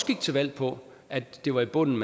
gik til valg på at det var i bunden